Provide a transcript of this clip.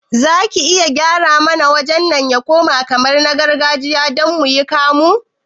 Zaki iya gyara mana wajen nan ya koma kamar na gargajiya don muyi kamu?